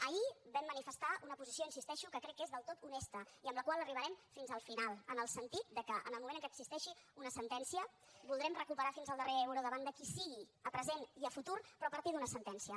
ahir vam manifestar una posició hi insisteixo que crec que és del tot honesta i amb la qual arribarem fins al final en el sentit de que en el moment en què existeixi una sentència voldrem recuperar fins al darrer euro davant de qui sigui a present i a futur però a partir d’una sentència